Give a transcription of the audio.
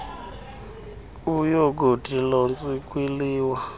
uyokuthi lontshi kwiliwa